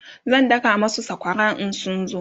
zan daka masu sakwara in sun zo